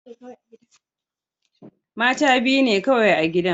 Mata biyu ne kawai a gidan.